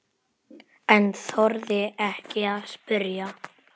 En þorði ekki að spyrja.